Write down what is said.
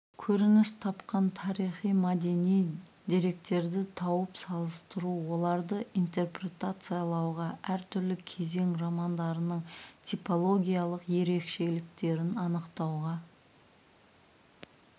көрініс тапқан тарихи-мәдени деректерді тауып салыстыру оларды интерпретациялауға әр түрлі кезең романдарының типологиялық ерекшеліктерін анықтауға